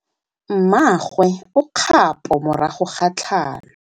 Mmagwe o kgapô morago ga tlhalô.